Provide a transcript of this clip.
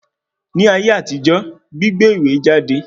Ní ayé àtijọ́, gbígbé ìwé jáde